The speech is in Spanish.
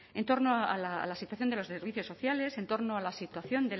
en torno a la situación de los servicios sociales en torno a la situación